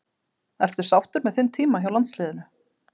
Ertu sáttur með þinn tíma hjá landsliðinu?